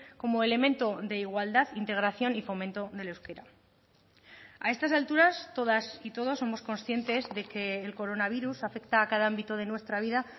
como elemento de igualdad integración y fomento del euskera a estas alturas todas y todos somos conscientes de que el coronavirus afecta a cada ámbito de nuestra vida